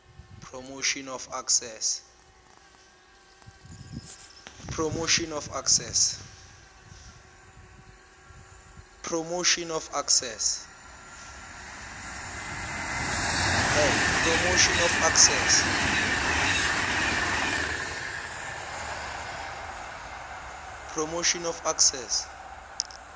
promotion of access